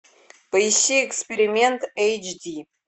поищи эксперимент эйч ди